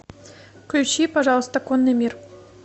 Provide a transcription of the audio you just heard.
включи пожалуйста конный мир